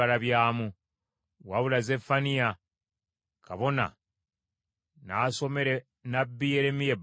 Wabula Zeffaniya kabona nasomera nnabbi Yeremiya ebbaluwa eno.